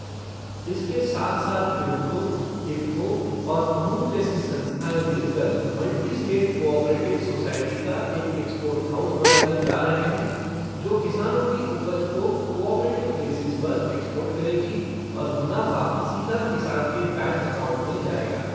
इसके साथ साथ कृभको, इफ़को और अमूल जैसी संस्थाएं मिलकर मल्टी स्टेट कोऑपरेटिव सोसाइटी का एक एक्सपोर्ट हाउस बनाने जा रहे हैं जो किसानों की उपज को कोऑपरेटिव बेसिस पर एक्सपोर्ट करेगी और मुनाफ़ा सीधा किसान के बैंक अकाउंट में जाएगा।